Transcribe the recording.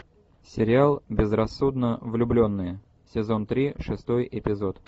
сериал безрассудно влюбленные сезон три шестой эпизод